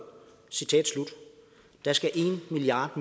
der skal en milliard